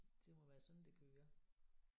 Det må være sådan det kører